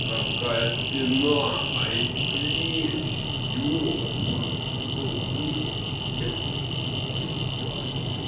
какая спина а эти плечи ёбаный в рот нихуя себе ебать